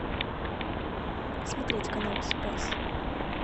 смотреть канал спас